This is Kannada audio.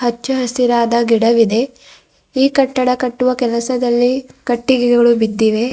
ಹಚ್ಚ ಹಸಿರಾದ ಗಿಡವಿದೆ ಈ ಕಟ್ಟಡ ಕಟ್ಟುವ ಕೆಲಸದಲ್ಲಿ ಕಟ್ಟಿಗೆಗಳು ಬಿದ್ದಿವೆ.